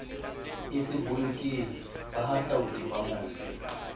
e se bolokehe bahahlaodi bamose